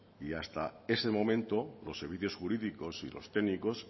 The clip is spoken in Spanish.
y hasta ese momento los servicios jurídicos y los técnicos